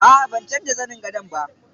Aa ban canza zanin gadon ba.